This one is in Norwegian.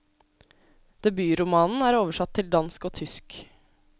Debutromanen er oversatt til dansk og tysk.